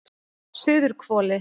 Suðurhvoli